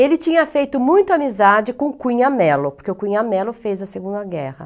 Ele tinha feito muita amizade com o Cunha Mello, porque o Cunha Mello fez a Segunda Guerra.